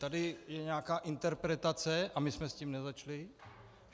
Tady je nějaká interpretace a my jsme s tím nezačali.